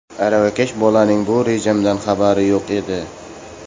Aravakash bolaning bu rejamdan xabari yo‘q edi.